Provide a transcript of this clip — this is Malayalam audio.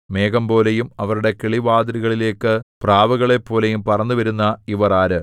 മേഘംപോലെയും അവരുടെ കിളിവാതിലുകളിലേക്കു പ്രാവുകളെപ്പോലെയും പറന്നുവരുന്ന ഇവർ ആര്